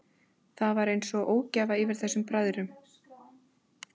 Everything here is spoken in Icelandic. Það var einsog einhver ógæfa yfir þessum bræðrum, Gumma og Gosa.